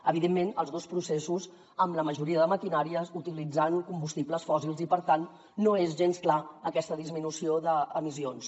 evidentment els dos processos amb la majoria de maquinàries utilitzant combustibles fòssils i per tant no és gens clara aquesta disminució d’emissions